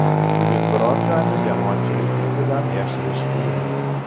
Bugun biror joyni jamoatchilik ko‘zidan yashirish qiyin.